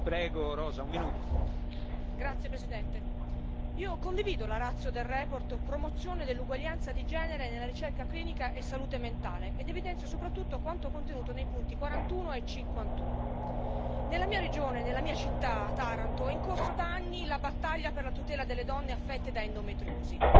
Signor Presidente, onorevoli colleghi, io condivido la ratio della relazione sulla promozione dell'uguaglianza di genere nella ricerca clinica e salute mentale ed evidenzio soprattutto quanto contenuto nei paragrafi 41 e 51. Nella mia regione e nella mia città, Taranto, è in corso da anni la battaglia per la tutela delle donne affette da endometriosi.